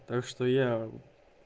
так что я